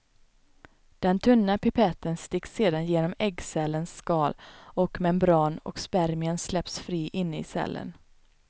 Den tunna pipetten sticks sedan genom äggcellens skal och membran och spermien släpps fri inne i cellen.